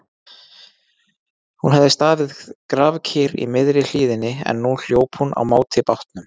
Hún hafði staðið grafkyrr í miðri hlíðinni en nú hljóp hún á móti bátnum.